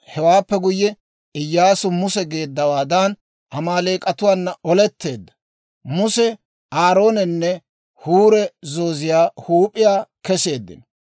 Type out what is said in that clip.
Hewaappe guyye Iyyaasu Muse geeddawaadan, Amaaleek'atuwaana oletteedda. Muse, Aaroonenne Huuri zooziyaa huup'iyaa kesseeddino.